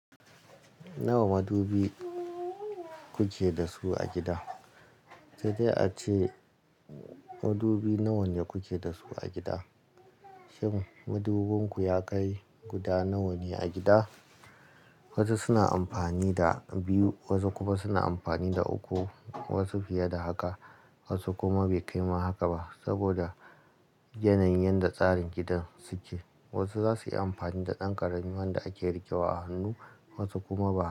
Nawa madubi kuke da su a gida? Saidai ace, madubi nawa ne kuke da su a gida? Shin madubinku ya kai guda nawa ne a gida? Wasu suna amfani da biyu, wasu kuma suna amfani da uku, wasu fiye da haka, wasu kuma bai kai ma haka ba saboda yanayin yanda tsarin gidan su ke. Wasu za su yi amfani da ɗan ƙarami wanda ake riƙewa a hannu, wasu kuma ba.